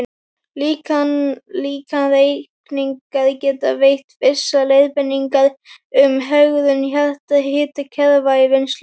Líkanreikningar geta veitt vissar leiðbeiningar um hegðun jarðhitakerfa í vinnslu.